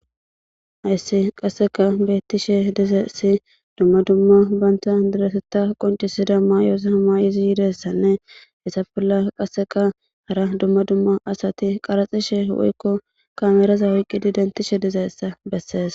Hayssi qasseka beettishe dizessi dumma dumma banta diresetta qoncisida maayoosi hama7izi yidessanne hessa bolla qasseka hara dumma dumma asati qaraxishe woykko kameeraza woyqqidi dentishe dizeyssa bessees